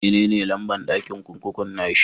Me ne lamba'n dakin kurkukun na shi?